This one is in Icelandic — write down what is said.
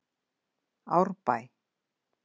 Árbæ